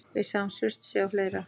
Við sáum Surtsey og fleira.